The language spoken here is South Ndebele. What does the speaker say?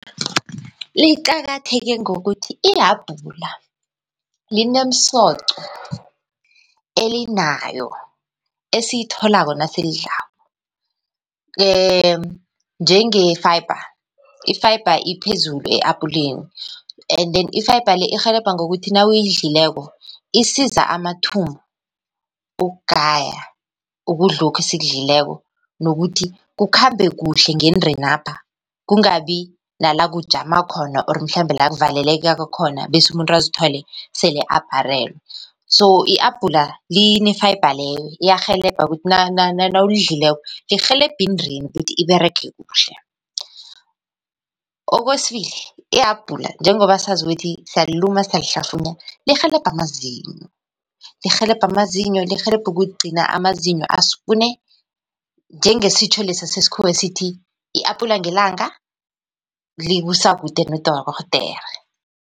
Liqakatheke ngokuthi ihabhula linemsoco elinayo esiyitholako nasilidlako njenge-fiber. I-fiber iphezulu e-apuleni and then i-fiber le irhelebha ngokuthi nawuyidlileko isiza amathumbu ukugaya ukudlokhu esikudlileko nokuthi kukhambe kuhle ngendenapha. Kungabi nala kujama khona, or mhlambe la kuvaleleka khona bese umuntu azithole sele aparelwe. So ihabhula line-fiber leyo, iyarhelebha kuthi nawulidlileko lirhelebha indeni ukuthi iberege kuhle. Kwesibili, ihabhula njengoba sazi ukuthi siyaliluma, siyalihlafunya lirhelebha amazinyo, lirhelebha amazinyo, lirhelebha ukugcina amazinyo askune. Njengesitjho lesa sesikhuwa esithi i-apula ngelanga likusa kude nodorhodera.